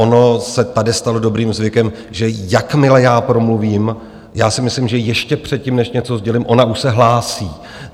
Ono se tady stalo dobrým zvykem, že jakmile já promluvím, já si myslím, že ještě předtím, než něco sdělím, ona už se hlásí.